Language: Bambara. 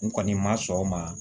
N kɔni ma sɔn o ma